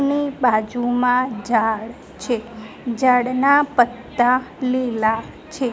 ની બાજુમાં ઝાડ છે ઝાડના પત્તા લીલા છે.